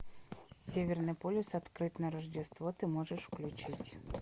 северный полюс открыт на рождество ты можешь включить